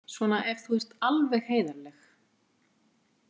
Svona ef þú ert alveg heiðarleg.